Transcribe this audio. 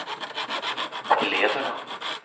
eleverna